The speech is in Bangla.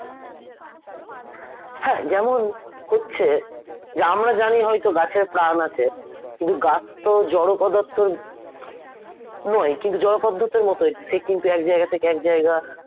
হ্যাঁ যেমন হচ্ছে যে আমরা জানি হয়তো গাছের প্রাণ আছে কিন্তু গাছ তো জড় পদার্থর নয় কিন্তু জড় পদার্থের মত সে কিন্তু এক জায়গা থেকে আরেক জায়গা